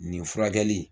Nin furakɛli